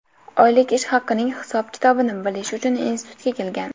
oylik ish haqining hisob-kitobini bilish uchun institutga kelgan.